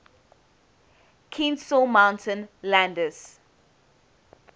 kenesaw mountain landis